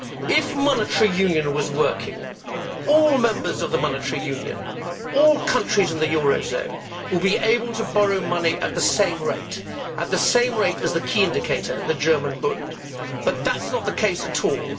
If monetary union was working, all members of the monetary union, all countries in the eurozone, would be able to borrow money at the same rate at the same rate as the key indicator, the German Bund but that is not the case at all.